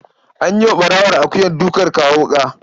An yi wa ɓarawon akuyar dukan kawo wuƙa.